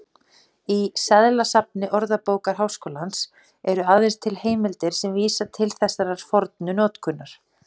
Í seðlasafni Orðabókar Háskólans eru aðeins til heimildir sem vísa til þessarar fornu notkunar.